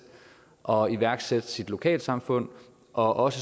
og iværksætte sit lokalsamfund også